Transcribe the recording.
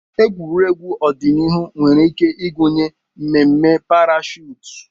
Egwuregwu ọdịnihu nwere ike ịgụnye mmemme parashuut.